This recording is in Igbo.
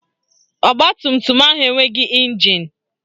Ọgbatumtum ahụ enweghị ịnjin